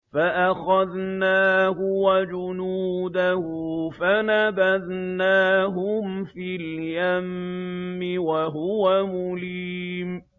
فَأَخَذْنَاهُ وَجُنُودَهُ فَنَبَذْنَاهُمْ فِي الْيَمِّ وَهُوَ مُلِيمٌ